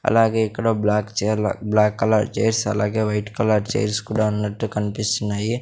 అలాగే ఇక్కడ బ్లాక్ చెర్లు బ్లాక్ కలర్ చైర్స్ అలాగే వైట్ కలర్ చైర్స్ కుడా ఉన్నట్టు కన్పిస్తున్నాయి.